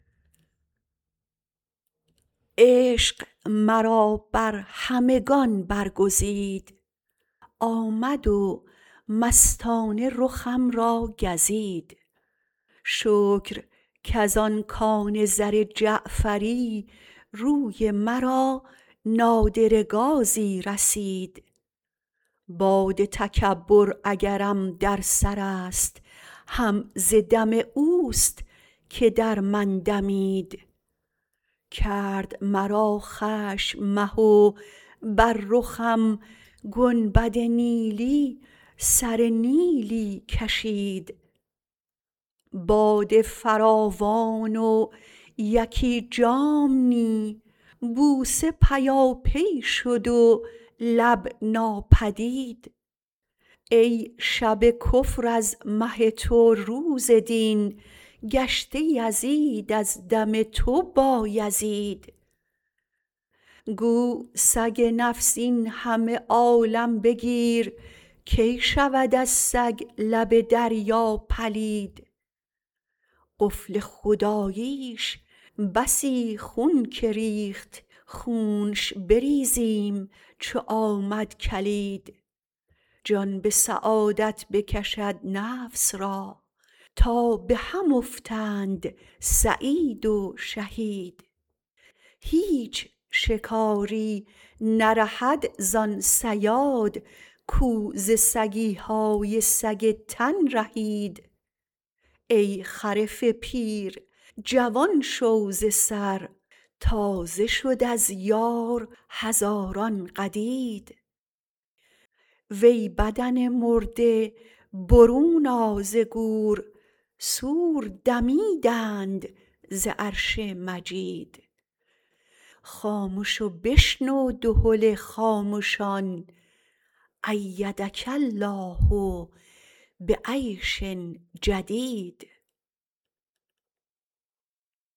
عشق مرا بر همگان برگزید آمد و مستانه رخم را گزید شکر کز آن کان زر جعفری روی مرا نادره گازی رسید باد تکبر اگرم در سرست هم ز دم اوست که در من دمید کرد مرا خشم مه و بر رخم گنبد نیلی سره نیلی کشید باده فراوان و یکی جام نی بوسه پیاپی شد و لب ناپدید ای شب کفر از مه تو روز دین گشته یزید از دم تو بایزید گو سگ نفس این همه عالم بگیر کی شود از سگ لب دریا پلید قفل خداییش بسی خون که ریخت خونش بریزیم چو آمد کلید جان به سعادت بکشد نفس را تا به هم افتند سعید و شهید هیچ شکاری نرهد زان صیاد کو ز سگی های سگ تن رهید ای خرف پیر جوان شو ز سر تازه شد از یار هزاران قدید وی بدن مرده برون آ ز گور صور دمیدند ز عرش مجید خامش و بشنو دهل خامشان ایدک الله به عیش جدید